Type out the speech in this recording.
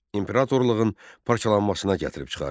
İmperatorluğun parçalanmasına gətirib çıxardı.